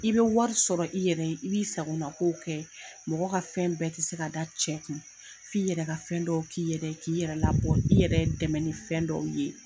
I bɛ wari sɔrɔ i yɛrɛ i b'i sagona ko kɛ mɔgɔ ka fɛn bɛɛ tɛ se ka da cɛ kun f'i yɛrɛ ka fɛn dɔw k'i yɛrɛ k'i yɛrɛ labɔ i yɛrɛ dɛmɛ ni fɛn dɔw ye.